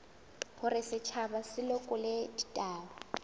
hore setjhaba se lekole ditaba